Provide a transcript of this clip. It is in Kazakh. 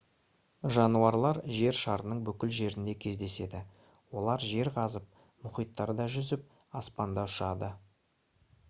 жануарлар жер шарының бүкіл жерінде кездеседі олар жер қазып мұхиттарда жүзіп аспанда ұшады